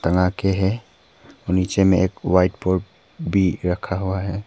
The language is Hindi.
आगे है और नीचे में एक व्हाइट बोर्ड भी रखा हुआ है।